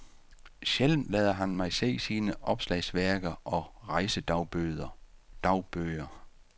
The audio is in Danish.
Sjældent lader han mig se sine opslagsværker og rejsedagbøger.